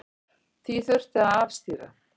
Því þurfi að afstýra.